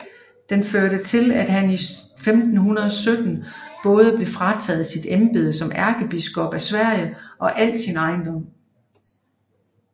Det førte til at han i 1517 både blev frataget sit embede som ærkebiskop af Sverige og al sin ejendom